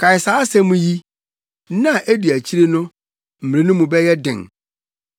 Kae saa asɛm yi. Nna a edi akyiri no, mmere no mu bɛyɛ den.